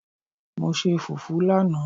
Mo se fufu lanaa